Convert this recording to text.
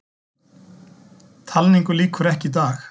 Talningu lýkur ekki í dag